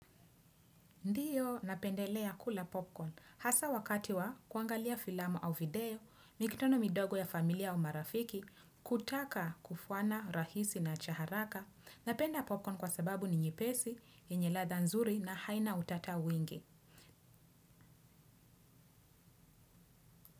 Ndiyo napendelea kula popcorn, hasa wakati wa kuangalia filamu au video, mikutano midogo ya familia au marafiki, kutaka kufwana rahisi na cha haraka, napenda popcorn kwa sababu ni nyepesi, yenye ladha nzuri na haina utata wingi.